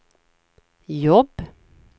jobb